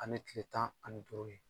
Ani kile tan ani duuru ye.